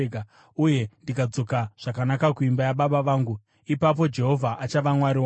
uye ndikadzoka zvakanaka kuimba yababa vangu, ipapo Jehovha achava Mwari wangu,